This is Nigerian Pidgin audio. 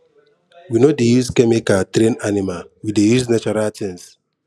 we no dey use chemical train animal we dey natural things